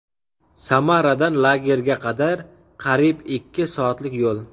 Samaradan lagerga qadar qariyb ikki soatlik yo‘l.